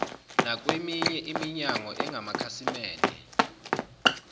nakweminye iminyango engamakhasimende